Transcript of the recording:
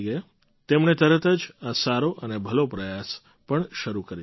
તેમણે તરત જ આ સારો અને ભલો પ્રયાસ પણ શરૂ કરી દીધો